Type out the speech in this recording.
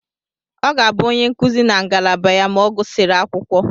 Ọ ga-abụ onye nkuzi na ngalaba ya ma ọ gụsịrị akwụkwọ.